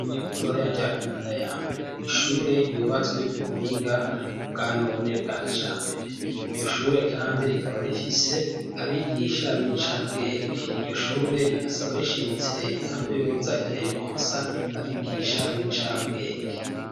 Ishure ritoya rya Kinanira ya mbere n'ishure ryubatswe ku buhinga bwanone bwa kijambere, iryo shure kandi rikaba rifise abigisha b'incabwenge, iryo shure rigasaba rishimitse reta ko yoza irayironsa abigisha b'incabwenge.